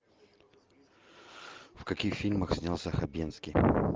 в каких фильмах снялся хабенский